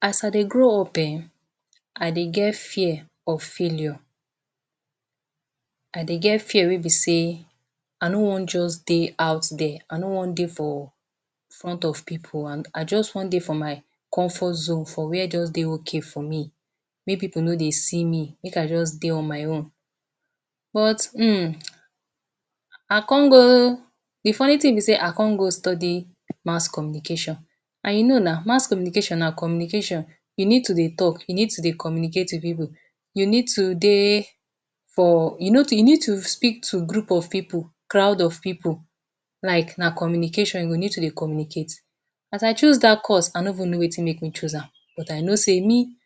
As i dey grow old um, i dey get fear of failure. I dey get fear wey be sey, I no wan just dey out dere. I no wan dey for front of pipu and I just wan dey for my comfort zone. For where just dey okay for me wey pipu no dey see me. Make i just dey on my own. But um i con dey the funny thing be sey, I con go study mass communication. And you know na, mass communication na communication. You need to dey talk, you need to dey communicate with pipu, you need to dey for you need to you need to speak to group of pipu, crowd of pipu. Like na communication, you go need to dey communicate. As i choose dat course i no even know wetin make me choose am. But i know sey, me,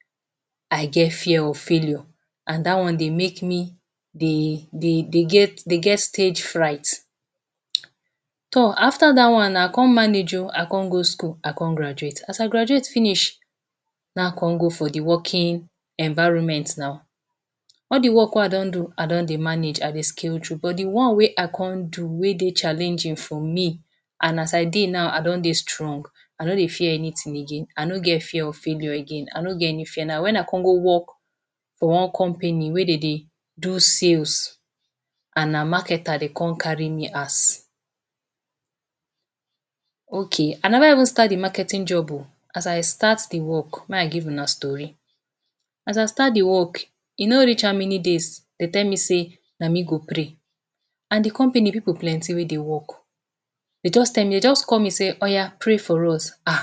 i get fear of failure and dat one dey make me dey dey get dey get stage fright. um Tor after dat one now, I con manage Toh, I con go school, I con graduate. As i graduate finish, na im i con go for the working environment na. All the work wey i don do, I don dey manage, I go scale through but the one wey i con do wey dey challenging for me and as i dey now, I don dey strong. I no dey fear anything again, I no get fear of failure again. I no get any fear. Na when i con go work for one company where de dey do sales and na marketer de con carry me as. Okay I never even start the marketing job oh. As i start the work, make i give huna story, as i start the work, e no reach how many days, de tell em sey na me go pray. And the company, pipu plenty wey dey work. They just tell me, they just call me sey pray for us um.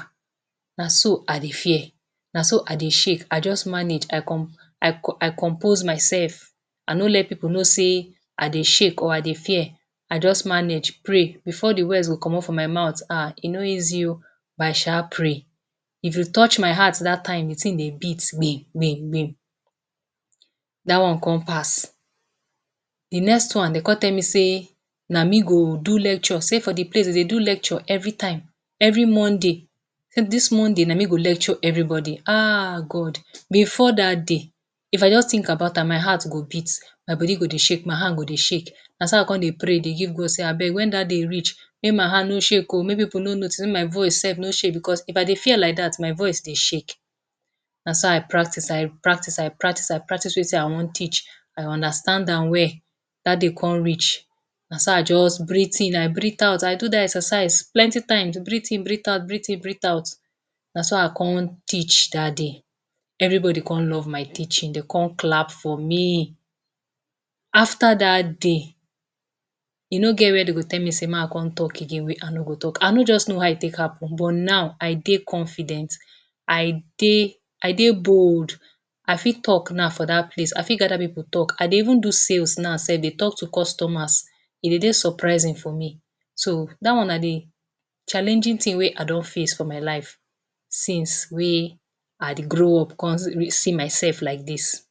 Na so i dey fear, na so i dey shake. I just manage, i com I I compose myself. I no let pipu know sey I dey shake or I dey fear. I just manage pray. Before the words go comot from my mouth ha! e no easy oh. But i sha pray. If you touch my heart dat time, the thing dey beat gbim gbim gbim. Dat one con pass. The next one, de con tell me sey na me go do lecture, sey for the place, de dey do lecture every time, every monday. Think dis monday, na me go lecture everybody. Ha! God before dat day, If i just think about am, my heart go beat, my body go dey shake, my hand go dey shake. Na so i con dey pray dey give God sey abeg when dat day reach, make my hand no shake oh. Make pipu no know, make my voice self no show because if i dey fear like dat my voice dey shake. Na so i practise am um practice am practice am practice am, practice wetin i wan preach. I understand am well. Dat day con reach. No so I just breath in, I breath out. I do dat exercise plenty times. breath in breath out, breath in breath out. Na so I con teach dat day. Everybody con love my teaching. De con clap for me. After dat day, e no get where de go tell me sey make i con talk again wey i no go talk. I no just know how e take happen. But now i dey confident. I dey I dey bold. I fit talk now for dat place. I fit gather pipu talk. I dey even do sales now, dey talk to customers. E dey dey surprising for me. So, dat one na the challenging things wey I don face for my life since wey i dey grow up con see myself like dis.